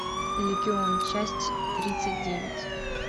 легион часть тридцать девять